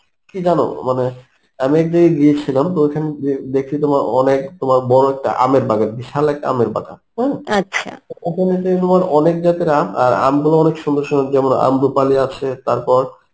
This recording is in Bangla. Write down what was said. কী জানো মানে আমি এক জায়গায় গিয়েছিলাম তো ঐখানে গিয়ে দেখছি তোমার অনেক তোমার বড় একটা আমের বাগান বিশাল একটা আমের বাগান হম ওখানে গিয়ে তোমার অনেক জাতের আম আর আম গুলো অনেক সুন্দর সুন্দর যেমন আম্রপালি আছে তারপর,